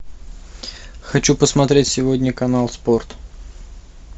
хочу посмотреть сегодня канал спорт